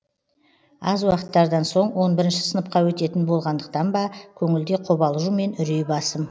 аз уақыттардан соң он бірінші сыныпқа өтетін болғандықтан ба көңілде қобалжу мен үрей басым